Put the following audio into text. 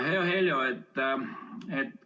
Hea Heljo!